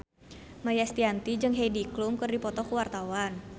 Maia Estianty jeung Heidi Klum keur dipoto ku wartawan